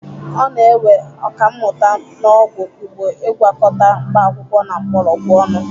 Ọ na-ewe Ọkammụta n'ọgwụ igbo Ị gwakọta mkpaakwụkwọ na mgbọrọgwụ ọnụ.